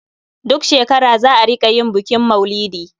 Duk shekara za a rƙa yin bukin maulidi.